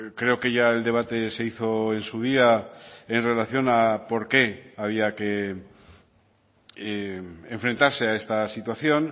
creo que ya el debate se hizo en su día en relación a por qué había que enfrentarse a esta situación